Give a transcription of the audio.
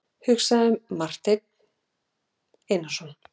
hugsaði Marteinn Einarsson.